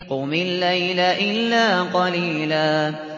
قُمِ اللَّيْلَ إِلَّا قَلِيلًا